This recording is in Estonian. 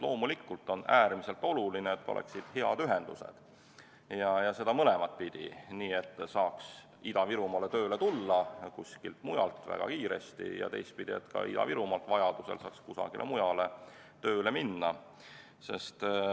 Loomulikult on äärmiselt oluline, et oleksid head ühendused, ja seda mõlemat pidi: nii, et saaks kuskilt mujalt väga kiiresti Ida-Virumaale tööle tulla, ja teistpidi, et ka Ida-Virumaalt saaks vajaduse korral kusagile mujale tööle minna.